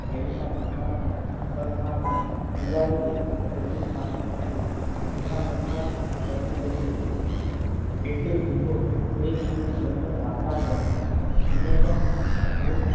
હેડીના પોતાને સાભણનારને ઉડાડી દે છે. કેટલીક સાંભળનાર ઉંચા મજમાં જ રચી પછી રહે છે. કેટલીક જીભો ત્રિમુખને જોય ને વાચાળ બને છે અને ત્યાં મુખ